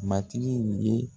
Matigi ye